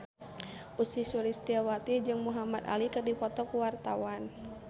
Ussy Sulistyawati jeung Muhamad Ali keur dipoto ku wartawan